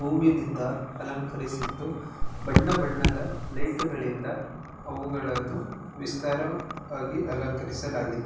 ಹೂವಿನಿಂದ ಅಲಂಕರಿಸಿದ್ದು ಬಣ್ಣ-ಬಣ್ಣದ ಲೈಟು ಗಳಿಂದ ಅವುಗಳನ್ನು ವಿಸ್ತಾರಕ್ಕಾಗಿ ಅಲಂಕರಿಸಲಾಗಿದೆ .